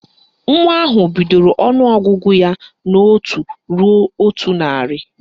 Nwa ahụ bidoro ọnụọgụgụ ya n' otu ruo otu narị